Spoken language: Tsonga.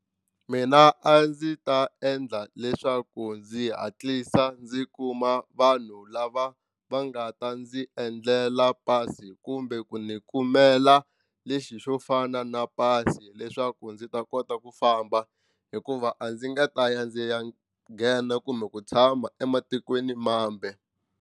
Mina a ndzi ta endla leswaku ndzi hatlisa ndzi kuma vanhu lava va nga ta ndzi endlela pasi kumbe ku ndzi kumela lexi xo fana na pasi leswaku ndzi ta kota ku famba hikuva a ndzi nga ta ya ndzi ya nghena kumbe ku tshama ematikweni mambe.